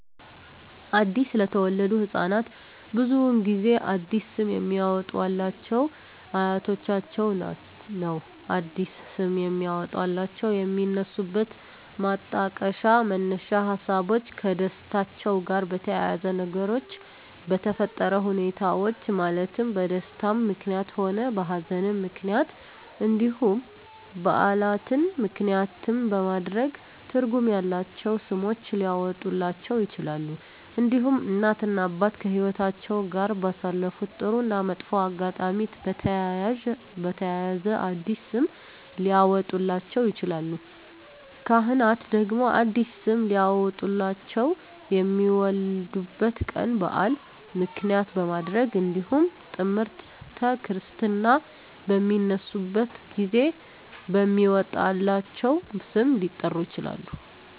አዲስ ለተወለዱ ህፃናት ብዙውን ጊዜ አዲስ ስም የሚያወጡሏቸው አያቶቻቸውን ነው አዲስ ስም የሚያወጧላቸው የሚነሱበት ማጣቀሻ መነሻ ሀሳቦች ከደስታቸው ጋር በተያያዘ በነገሮች በተፈጠረ ሁኔታዎች ማለትም በደስታም ምክንያትም ሆነ በሀዘንም ምክንያት እንዲሁም በዓላትን ምክንያትም በማድረግ ትርጉም ያላቸው ስሞች ሊያወጡላቸው ይችላሉ። እንዲሁም እናት እና አባት ከህይወትአቸው ጋር ባሳለፉት ጥሩ እና መጥፎ አጋጣሚ በተያያዘ አዲስ ስም ሊያወጡላቸው ይችላሉ። ካህናት ደግሞ አዲስ ስም ሊያወጡላቸው የሚወለዱበት ቀን በዓል ምክንያት በማድረግ እንዲሁም ጥምረተ ክርስትና በሚነሱበት ጊዜ በሚወጣላቸው ስም ሊጠሩ ይችላሉ።